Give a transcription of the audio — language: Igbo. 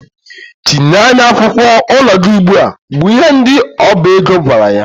Chịnye anyị akwụkwọ ụlọ gị ugbua! bụ ihe ndị ọba ego gwara ya.